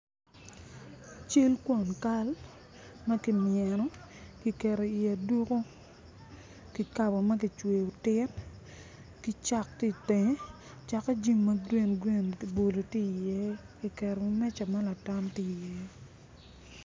Cal kwon kaal ma kimyeno kiketo i aduko kikabo ma kicweyo oti ki dok i in jami magi labolo tye iye.